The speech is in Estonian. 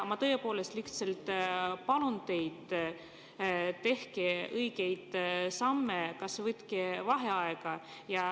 Ma tõepoolest lihtsalt palun teid, et tehke õigeid samme, võtke kas või vaheaeg.